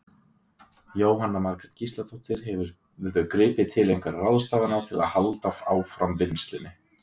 Jóhanna Margrét Gísladóttir: Hefurðu gripið til einhverja ráðstafana til að halda áfram vinnslunni?